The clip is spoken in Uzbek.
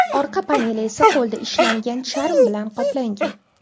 Orqa paneli esa qo‘lda ishlangan charm bilan qoplangan.